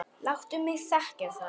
Láttu mig þekkja það.